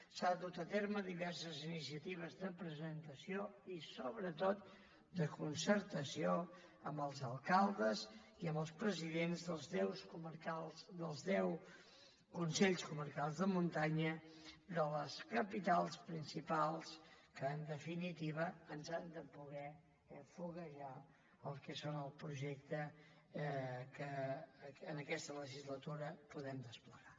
s’han dut a terme diverses iniciatives de presentació i sobretot de concertació amb els alcaldes i amb els presidents dels deu consells comarcals de muntanya de les capitals principals que en definitiva ens han de poder foguejar el que és el projecte que en aquesta legislatura podem desplegar